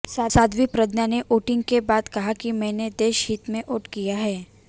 साध्वी प्रज्ञा ने वोटिंग के बाद कहा कि मैंने देश हित में वोट किया है